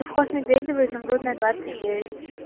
совхоз медведево изумрудная двадцать девять